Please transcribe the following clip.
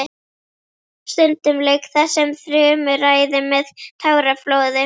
Stundum lauk þessum þrumuræðum með táraflóði.